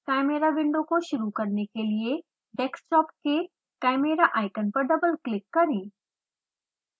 chimera window को शुरू करने के लिए डेस्कटॉप के chimera आइकन पर डबल क्लिक करें